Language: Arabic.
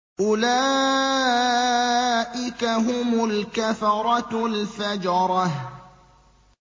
أُولَٰئِكَ هُمُ الْكَفَرَةُ الْفَجَرَةُ